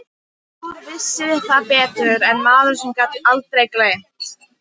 Fáir vissu það betur en maður sem gat aldrei gleymt.